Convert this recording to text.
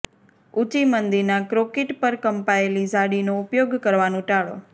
ઊંચી મંદીના કોંક્રિટ પર કંપાયેલી ઝાડીનો ઉપયોગ કરવાનું ટાળો